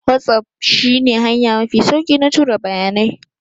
WhatsApp shi ne hanya mafi sauki na tura bayanai